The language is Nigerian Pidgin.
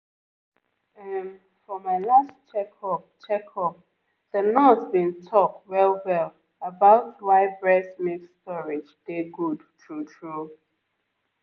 um for my last checkup checkup the nurse been talk well-well about why breast milk storage dey good true-true